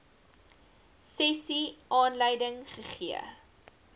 sessie aanleiding gegee